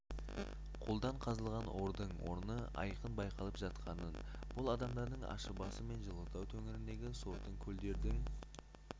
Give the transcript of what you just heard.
қолдан қазылған ордың орны айқын байқалып жатқанын бұл адамдардың ащыбасы мен жылытау төңірегіндегі сортаң көлдердің